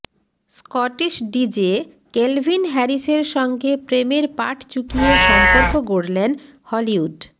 Scottish DJ Kelvin হ্যারিসের সঙ্গে প্রেমের পাট চুকিয়ে সম্পর্ক গড়লেন হলিউড